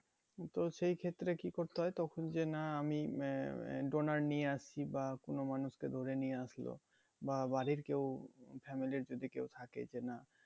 তো সেই ক্ষেত্রে কি করতে হয় তখন যে না আমি উম আহ donor নিয়ে আসছি বা কোন মানুষকে ধরে নিয়ে আসলো বা বাড়ির কেউ family র যদি কেউ থাকে যে না